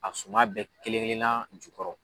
A suma bɛɛ kelen kelennan jukɔrɔ.